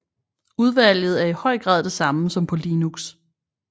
Udvalget er i høj grad det samme som på Linux